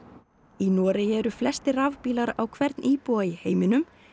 í Noregi eru flestir rafbílar á hvern íbúa í heiminum